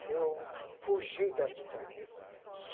que eu fugi da Espanha.